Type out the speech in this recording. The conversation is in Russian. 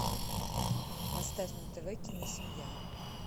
поставь на тв киносемья